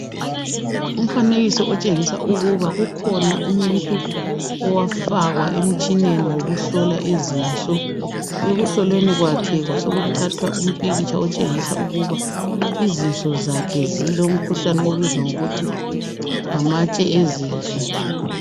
Umfanekiso otshengisa ukuba kukhona umuntu owafakwa emtshineni wokuhlola izinso .Ekuhlolweni kwakhe kwasekuthathwa umpikitsha otshengisa ukuba izinso zakhe zilomkhuhlane obizwa ngokuthi ngamatshe ezinso.